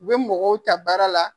U bɛ mɔgɔw ta baara la.